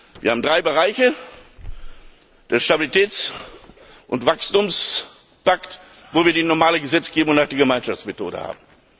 Wir haben drei Bereiche den Stabilitäts und Wachstumspakt, wo wir die normale Gesetzgebung und auch die Gemeinschaftsmethode haben.